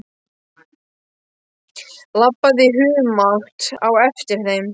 Labbaði í humátt á eftir þeim.